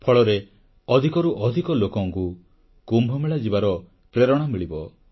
ଫଳରେ ଅଧିକରୁ ଅଧିକ ଲୋକଙ୍କୁ କୁମ୍ଭମେଳା ଯିବାର ପ୍ରେରଣା ମିଳିବ